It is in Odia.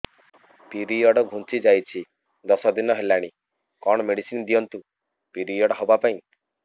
ପିରିଅଡ଼ ଘୁଞ୍ଚି ଯାଇଛି ଦଶ ଦିନ ହେଲାଣି କଅଣ ମେଡିସିନ ଦିଅନ୍ତୁ ପିରିଅଡ଼ ହଵା ପାଈଁ